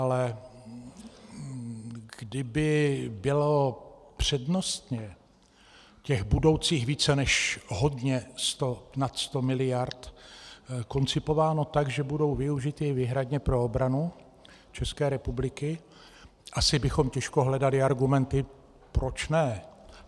Ale kdyby bylo přednostně těch budoucích více než hodně sto, nad 100 miliard, koncipováno tak, že budou využity výhradně pro obranu České republiky, asi bychom těžko hledali argumenty proč ne.